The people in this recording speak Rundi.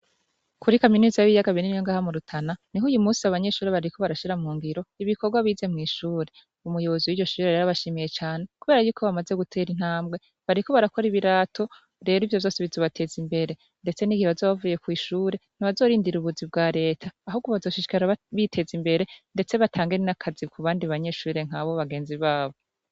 Kuri kaminuzi y'iyaga bininyonga hamurutana ni ho uyu musi abanyeshuri bariko barashira mu ngiro ibikorwa bize mw'ishure umuyobozu w'iro shijira riarabashimiye cane, kubera yuko bamaze gutera intambwe bariko barakora ibirato rero ivyo zose bizobateza imbere, ndetse n'igihe bazobavuye kw'ishure ntibazorindira ubuzi bwa leta ahugo bazoshishikara biteza imbere, ndetse batange nakazi ku bandi banyeshure nkabo bagenzi babo.